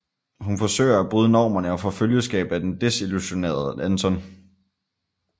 Hun forsøger at bryde normerne og får følgeskab af den desillusionerede Anton